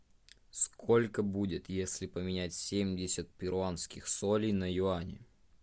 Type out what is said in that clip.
сколько будет если поменять семьдесят перуанских солей на юани